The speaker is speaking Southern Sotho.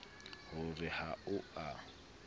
ho re ha o a